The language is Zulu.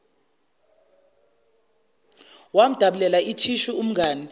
wamdabulela ithishu umngani